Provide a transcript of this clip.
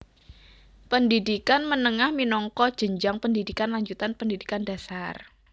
Pendhidhikan menengah minangka jenjang pendhidhikan lanjutan pendhidhikan dhasar